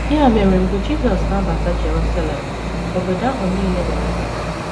Ya mere mgbe Jisọs na - abata Jerusalem, obodo ahụ nile mere mkpọtụ.